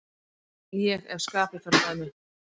Ég ef skapið fer með mig.